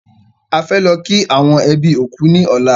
A fẹ́ lọ kí àwọn ẹbí òkú ní ọ̀la